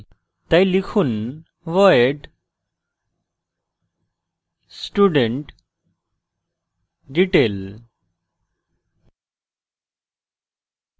তাই লিখুন void studentdetail